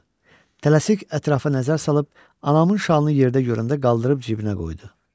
Tələsik ətrafa nəzər salıb, anamın şalını yerdə görəndə qaldırıb cibinə qoydu.